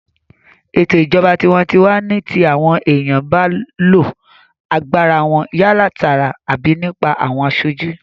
Ètò ìjọba tinwatinwa ní ti àwọn èèyàn ba lo agbára wọn yálà tààrà àbí nípa àwọn aṣojú